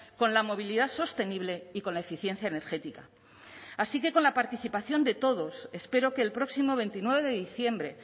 con la movilidad sostenible y con la eficiencia energética así que con la participación de todos espero que el próximo veintinueve de diciembre